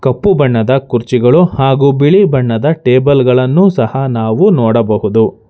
ಕಪ್ಪು ಬಣ್ಣದ ಕುರ್ಚಿಗಳು ಹಾಗು ಬಿಳಿ ಬಣ್ಣದ ಟೇಬಲ್ ಗಳನ್ನು ಸಹ ನಾವು ನೋಡಬಹುದು.